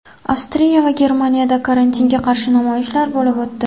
Avstriya va Germaniyada karantinga qarshi namoyishlar bo‘lib o‘tdi .